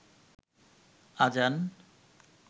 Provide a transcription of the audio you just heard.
আজান